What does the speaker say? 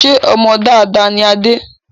Ṣé ọmọ dáadáa ni Adé